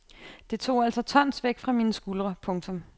Det tog altså tons væk fra mine skuldre. punktum